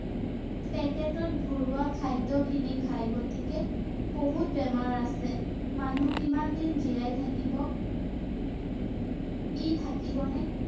packet -ত ভৰোৱা খাদ্য কিনি খায় ৷ গতিকে বহুত বেমাৰ আছে ৷ মানুহ কিমান দিন জীয়াই থাকিব ৷ কি থাকিব নে?